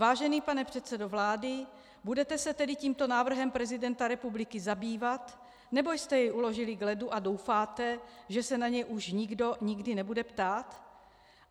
Vážený pane předsedo vlády, budete se tedy tímto návrhem prezidenta republiky zabývat, nebo jste jej uložili k ledu a doufáte, že se na něj už nikdo nikdy nebude ptát?